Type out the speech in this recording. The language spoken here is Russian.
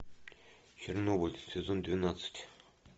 чернобыль сезон двенадцать